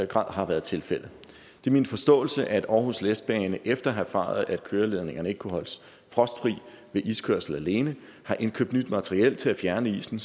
grad har været tilfældet det er min forståelse at aarhus letbane efter at have erfaret at køreledningerne ikke kunne holdes frostfri ved iskørsel alene har indkøbt nyt materiel til at fjerne isen